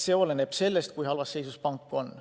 See oleneb sellest, kui halvas seisus pank on.